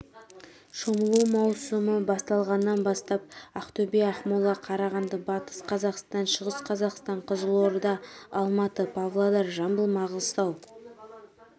шомылу маусымы басталғаннан бастап ақтөбе ақмола қарағанды батыс қазақстан шығыс қазақстан қызылорда алматы павлодар жамбыл маңғыстау